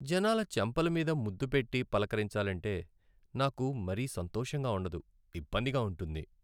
జనాల చెంపల మీద ముద్దు పెట్టి పలకరించాలంటే, నాకు మరీ సంతోషంగా ఉండదు, ఇబ్బందిగా ఉంటుంది.